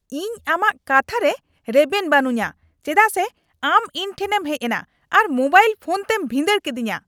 ᱤᱧ ᱟᱢᱟᱜ ᱠᱟᱛᱦᱟᱨᱮ ᱨᱮᱵᱮᱱ ᱵᱟᱹᱱᱩᱧᱟ ᱪᱮᱫᱟᱜ ᱥᱮ ᱟᱢ ᱤᱧ ᱴᱷᱮᱱᱮᱧ ᱦᱮᱡ ᱮᱱᱟ ᱟᱨ ᱢᱳᱵᱟᱭᱤᱞ ᱯᱷᱚᱱ ᱛᱮᱢ ᱵᱷᱤᱸᱫᱟᱹᱲ ᱠᱤᱫᱤᱧᱟ ᱾